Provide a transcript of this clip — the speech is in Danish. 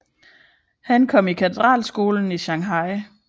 Han kom i katedralskolen i Shanghai